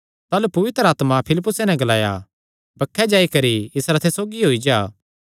ताह़लू पवित्र आत्मा फिलिप्पुसे नैं ग्लाया बक्खे जाई करी इस रथे सौगी होई जा